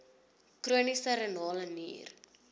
chroniese renale nier